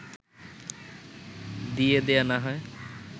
দিয়ে দেয়া না হয়